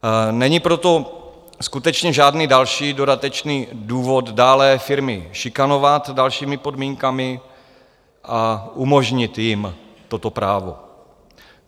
Není proto skutečně žádný další dodatečný důvod dále firmy šikanovat dalšími podmínkami, a umožnit jim toto právo.